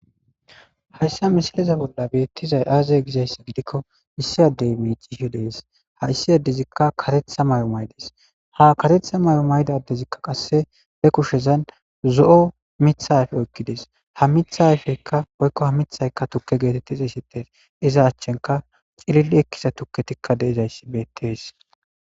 Hayssa mishaleza bolla beettizay aaza gizayss gidikko issi addey miicishe de7ees haysi addezikka karetha may7o maydes ha karetha may7o maydadezikka qasse he kushezan zo7o mitha ayfe oykkides ha mitha ayfeykka oykko ha mithayka tukke geetetti xeesettees iza achchenka cilili ekkiza tukketikka de7izayssi beettees.